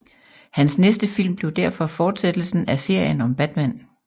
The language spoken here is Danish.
Hans næste film blev derfor fortsættelsen af serien om Batman